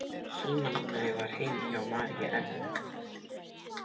Símanúmerið var heima hjá Mary Ellen.